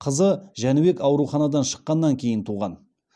қызы жәнібек ауруханадан шыққаннан кейін туған